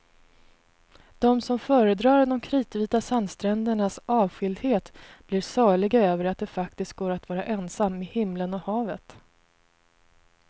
De som föredrar de kritvita sandsträndernas avskildhet blir saliga över att det faktiskt går att vara ensam med himlen och havet.